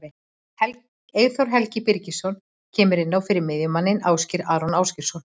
Eyþór Helgi Birgisson kemur inn á fyrir miðjumanninn Ásgeir Aron Ásgeirsson.